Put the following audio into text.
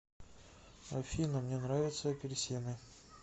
афина мне нравятся апельсины